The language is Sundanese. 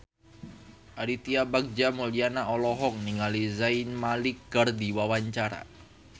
Aditya Bagja Mulyana olohok ningali Zayn Malik keur diwawancara